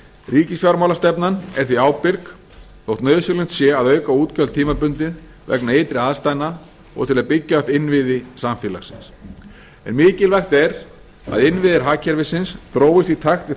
enn ríkisfjármálastefnan er því ábyrg þótt nauðsynlegt sé að auka útgjöld tímabundið vegna ytri aðstæðna og til að byggja upp innviði samfélagsins en mikilvægt er að innviðir hagkerfisins þróist í takt við